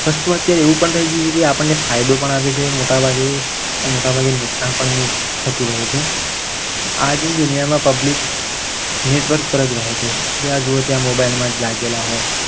વસ્તુ અત્યારે એવું પણ થઈ ગયું છે. કે એ આપણને ફાયદો પણ આપે છે. મોટાભાગે અને મોટાભાગે નુકસાન પણ થતું રહે છે. આજની દુનિયામાં public network પર જ રહે છે. જ્યાં જુઓ ત્યાં mobile માં લાગેલા હોય.